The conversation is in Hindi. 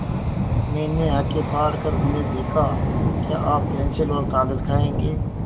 मैंने आँखें फाड़ कर उन्हें देखा क्या आप पेन्सिल और कागज़ खाएँगे